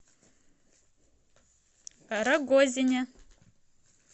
рогозине